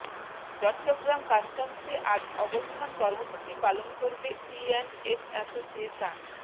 চট্টগ্রাম কাস্টমসে আজ অবস্থান কর্মসূচি পালন করবে সিঅ্যান্ডএফ অ্যাসোসিয়েশন